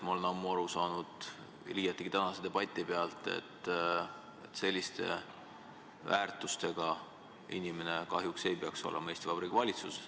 Ma olen ammu aru saanud, liiati tänase debati põhjal, et selliste väärtustega inimene ei peaks olema Eesti Vabariigi valitsuses.